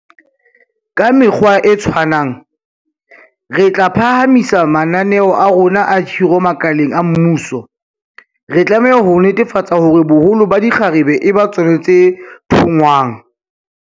Ka mekgwa e tshwanang, re tla phahamisa mananeo a rona a khiro makaleng a mmuso, re tlameha ho netefatsa hore boholo ba dikgarabe e ba tsona tse thongwang.